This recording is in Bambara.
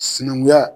Sinankunya